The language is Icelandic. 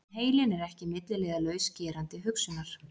En heilinn er ekki milliliðalaus gerandi hugsunar.